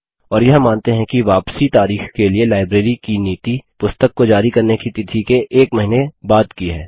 और यह मानते हैं कि वापसी तारीख के लिए लाइब्रेरी की नीति पुस्तक को जारी करने की तिथि के एक महीने बाद की है